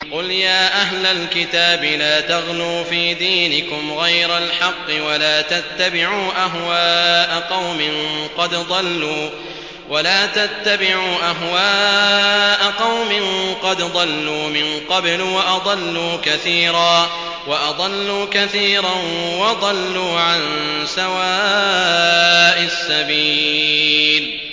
قُلْ يَا أَهْلَ الْكِتَابِ لَا تَغْلُوا فِي دِينِكُمْ غَيْرَ الْحَقِّ وَلَا تَتَّبِعُوا أَهْوَاءَ قَوْمٍ قَدْ ضَلُّوا مِن قَبْلُ وَأَضَلُّوا كَثِيرًا وَضَلُّوا عَن سَوَاءِ السَّبِيلِ